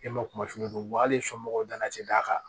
E ma kuma fini fɔ hal'i somɔgɔw tana ti d'a kan